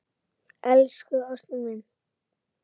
Elsku ástin mín.